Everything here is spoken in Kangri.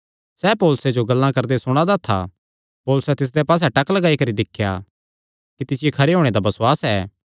सैह़ पौलुसे जो गल्लां करदे सुणा दा था पौलुसैं तिसदे पास्से टक्क लगाई करी दिख्या कि तिसियो खरे होणे दा बसुआस ऐ